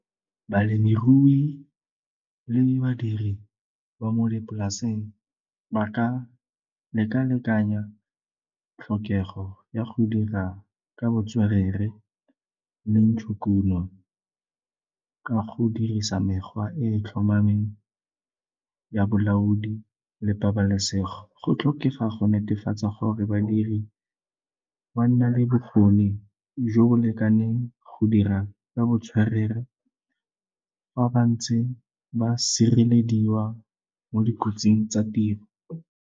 Balemirui le badiri ba mo dipolaseng ba ka leka-lekanya tlhokego ya go dira ka botswerere le ntshokuno ka go dirisa mekgwa e e tlhomameng ya bolaodi le pabalesego. Go tlhokega go netefatsa gore badiri ba nna le bokgoni jo bo lekaneng go dira ka botswerere fa ba ntse ba sirelediwa mo dikotsing tsa tiro.